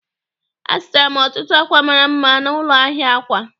Azụtara m ọtụtụ akwa mara mma n'ụlọ ahịa akwa.